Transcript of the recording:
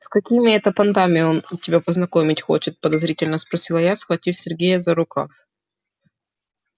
с какими это понтами он тебя познакомить хочет подозрительно спросила я схватив сергея за рукав